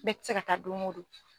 Bɛɛ tɛ se ka taa don o don.